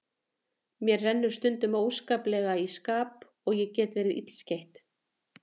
Mér rennur stundum óskaplega í skap og ég get verið illskeytt.